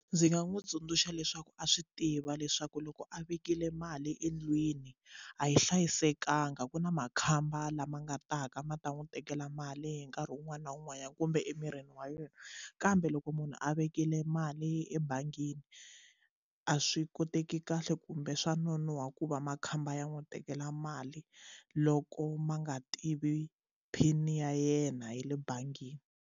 Ndzi nga n'wi tsundzuxa leswaku a swi tiva leswaku loko a vekile mali endlwini a yi hlayisekanga ku na makhamba lama nga ta ka ma ta n'wi tekela mali hi nkarhi wun'wana na wun'wanyana kumbe emirini wa yena kambe loko munhu a vekile mali ebangini a swi koteki kahle kumbe swa nonoha ku va makhamba ya n'wi tekela mali loko ma nga tivi PIN ya yena ya le bangini.